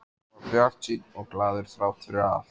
Hann var bjartsýnn og glaður þrátt fyrir allt.